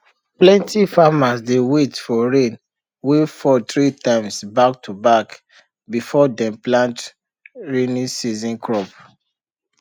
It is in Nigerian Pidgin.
plenty farmers dey wait for rain wey fall three times back to back before dem plant rainy season crops